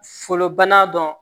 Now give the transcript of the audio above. Folobana dɔn